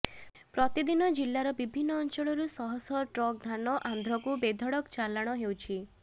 ପ୍ରତିଦିନ ଜିଲ୍ଲାର ବିଭିନ୍ନ ଅଞ୍ଚଳରୁ ଶହ ଶହ ଟ୍ରକ୍ ଧାନ ଆନ୍ଧ୍ରକୁ ବେଧଡ଼କ ଚାଲାଣ ହେଉଛି